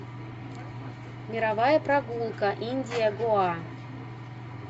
мировая прогулка индия гоа